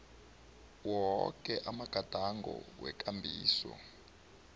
woke amagadango wekambiso